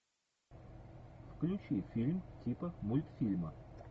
включи фильм типа мультфильма